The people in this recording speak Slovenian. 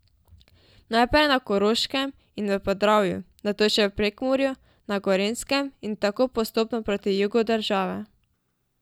Najprej na Koroškem in v Podravju, nato še v Prekmurju, na Gorenjskem in tako postopno proti jugu države.